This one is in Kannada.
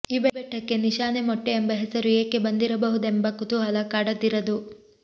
ಈ ಬೆಟ್ಟಕ್ಕೆ ನಿಶಾನೆಮೊಟ್ಟೆ ಎಂಬ ಹೆಸರು ಏಕೆ ಬಂದಿರಬಹುದೆಂಬ ಕುತೂಹಲ ಕಾಡದಿರದು